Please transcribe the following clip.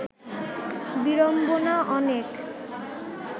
বিড়ম্বনা অনেক